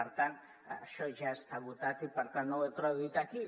per tant això ja està votat i per tant no ho he traduït aquí